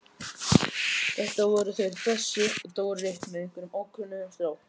Þetta voru þeir Bessi og Dóri með einhverjum ókunnum strák.